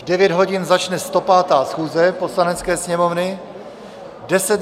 V 9 hodin začne 105. schůze Poslanecké sněmovny.